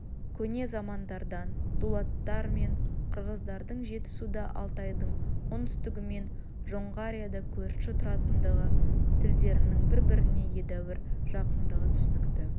көне замандардан дулаттар мен қырғыздардың жетісуда алтайдың оңтүстігі мен жоңғарияда көрші тұратындығы тілдерінің бір-біріне едәуір жақындығы түсінікті